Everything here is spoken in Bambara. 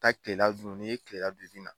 taa kilela dun n'i ye kilela dun i bɛ na.